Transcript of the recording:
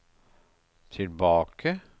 tilbake